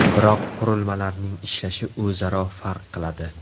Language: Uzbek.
Biroq qurilmalarning ishlashi o‘zaro farq qiladi.